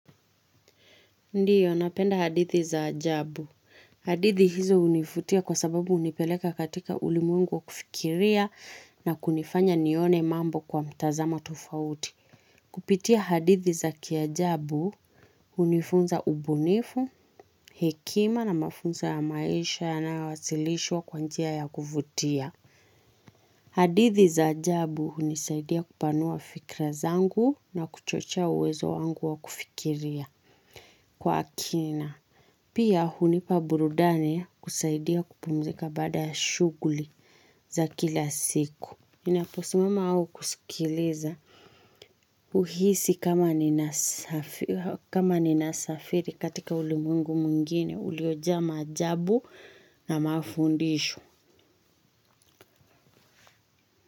Ndiyo, napenda hadithi za ajabu. Hadithi hizo hunivutia kwa sababu hunipeleka katika ulimwengu wa kufikiria na kunifanya nione mambo kwa mtazamo tofauti. Kupitia hadithi za kiajabu, hunifunza ubunifu, hekima na mafunzo ya maisha yanayowasilishwa kwa njia ya kuvutia. Hadithi za ajabu hunisaidia kupanua fikra zangu na kuchochea uwezo wangu wa kufikiria kwa kina. Pia hunipa burudani kusaidia kupumzika baada ya shughuli za kila siku. Ninaposimama au kusikiliza uhisi kama kama ninasafiri katika ulimwengu mwingine uliojaa maajabu na mafundisho.